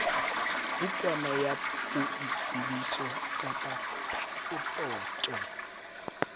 bukana ya boitsebiso kapa phasepoto